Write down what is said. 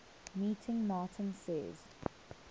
meeting martin says